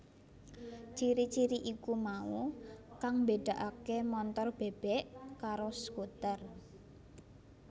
Ciri ciri iku mau kang mbédakaké montor bèbèk karo skuter